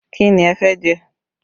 Kí ni ẹ fẹ́ jẹ?